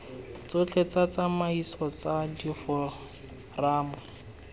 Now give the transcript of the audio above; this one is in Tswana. tsotlhe tsa ditsamaiso tsa diforamo